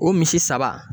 O misi saba